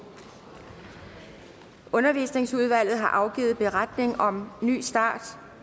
undervisningsudvalget har afgivet beretning om ny start